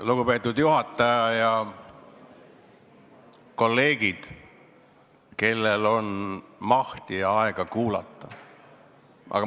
Lugupeetud juhataja ja kolleegid, kellel on mahti ja aega kuulata!